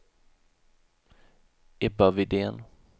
Ebba Widén